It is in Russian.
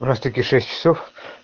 у нас таки шесть часов